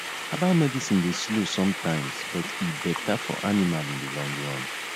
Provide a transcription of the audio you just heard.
herbal medicine dey slow sometimes but e better for animal in the long run